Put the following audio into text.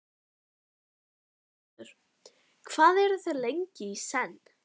Magnús Hlynur: Hvað eru þau lengi í senn?